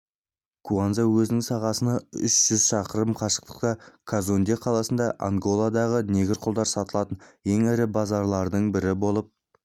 куанза өзенінің сағасынан үш жүз шақырым қашықтағы казонде қаласы анголадағы негр құлдар сатылатын ең ірі базарлардың бірі болып